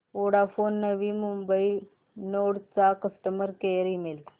Vodafone Navi Mumbai node चा customer care email